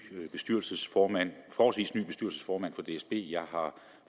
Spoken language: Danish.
bestyrelsesformand for dsb jeg har